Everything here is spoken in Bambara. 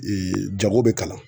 jago bɛ kalan.